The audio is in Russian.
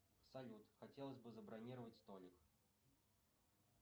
салют хотелось бы забронировать столик